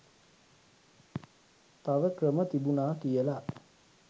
තව ක්‍රම තිබුණා කියලා.